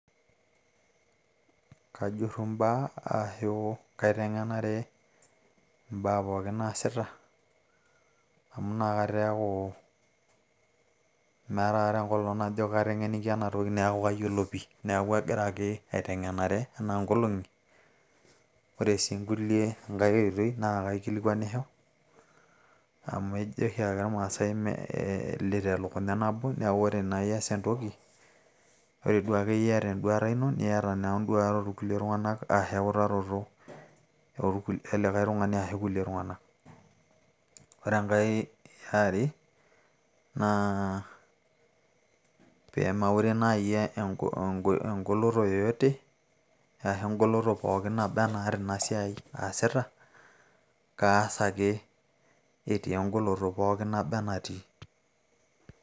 kajurru imbaa aashu kaiteng'enare imbaa pooki naasita amu inakata eeku meeta akata enkolong najo kateng'enikia ena toki neeku kayiolo pii neeku agira ake aiteng'enare enaa nkolong'i ore sii inkulie enkay oitoi naa kaikilikuanisho amu ejo oshiake irmaasay melit elukunya nabo neeku ore naa ias entoki ore duakeyir iyata enduata ino niata naa induat orkulie tung'anak arashu eutaroto e likay tung'ani ashu kulie tung'anak ore enkay e are naa pee maure naaji engoloto yeyote arashi engoloto pooki naba enaata ina siai aasita kaas ake etii engoloto poki naba enatii.